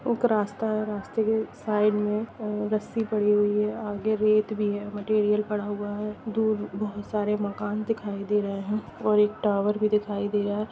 एक रास्ता हैरास्ते के साईड में रस्सी पड़ी हुयी है आगे रेत भी हैमटिरियल पड़ा हुआ है दूर बहुत सारे मकान दिखाई दे रहे है और एक टावर भी दिखाई दे रहा है।